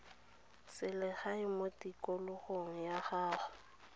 selegae mo tikologong ya gago